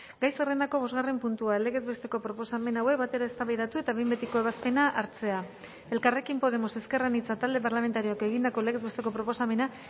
gai zerrendako bosgarren puntua legez besteko proposamen hauek batera eztabaidatu eta behin betiko ebazpena hartzea elkarrekin podemos ezker anitza talde parlamentarioak egindako legez besteko proposamena